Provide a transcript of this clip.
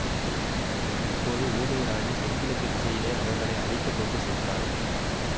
இப்போது ஊமை ராணி தென்கிழக்குத் திசையிலே அவர்களை அழைத்து கொண்டு சென்றாள்